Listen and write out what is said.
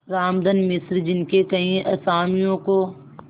रामधन मिश्र जिनके कई असामियों को